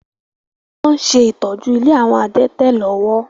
Wọn ṣe ìtọ́jú ilé àwọn adẹ́tẹ̀ lọ́wọ́.